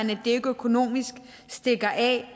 det ikke økonomisk stikker af